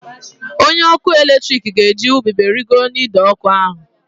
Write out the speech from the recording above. Onye ọkụ eletrik ga-eji ubube rịgoro n'ide ọkụ ahụ